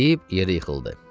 deyib yerə yıxıldı.